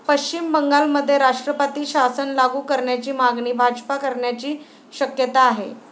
पश्चिम बंगालमध्ये राष्ट्रपती शासन लागू करण्याची मागणी भाजपा करण्याची शक्यता आहे.